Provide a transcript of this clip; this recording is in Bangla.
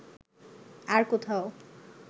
আর কোথাও